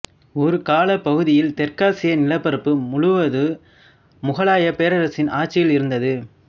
ஒரு காலப் பகுதியில் தெற்காசிய நிலப்பரப்பு முழுவது முகலாயப் பேரரசின் ஆட்சியில் இருந்தது